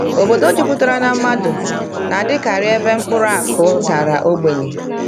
Obodo jupụtara na mmadụ na-adịkarị ebe mkpụrụ akụ dara ogbenye.